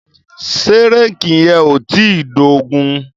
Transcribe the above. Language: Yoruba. Ṣé réèkì yẹn ò tíì dógùn-ún?